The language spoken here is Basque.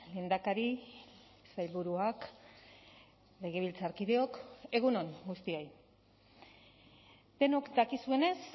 lehendakari sailburuak legebiltzarkideok egun on guztioi denok dakizuenez